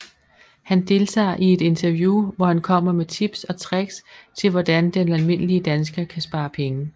Han deltager i et interview hvor han kommer med tips og tricks til hvordan den almindelige dansker kan spare penge